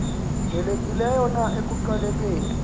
nelekileyo na ekuqalekeni